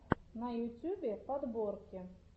на ютюбе подборки